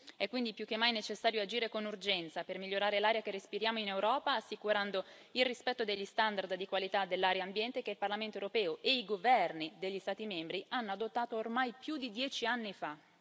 È quindi più che mai necessario agire con urgenza per migliorare l'aria che respiriamo in Europa, assicurando il rispetto degli standard di qualità dell'aria ambiente che il Parlamento europeo e i governi degli Stati membri hanno adottato ormai più di dieci anni fa.